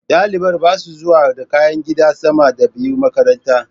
Ɗalibar basa zuwa da kayan gida sama da biyu makaranta